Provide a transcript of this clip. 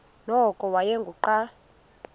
nokuba wayengu nqal